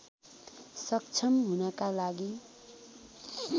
सक्षम हुनका लागि